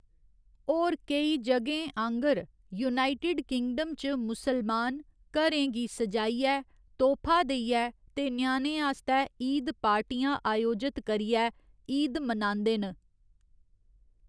होर केई जगहें आंह्गर, यूनाइटेड किंगडम च मुस्लमान, घरें गी स'जाइयै, तोह्‌‌फा देइयै ते ञ्यानें आस्तै ईद पार्टियाँ अयोजत करियै, ईद मनांदे न।